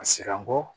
A siran bɔ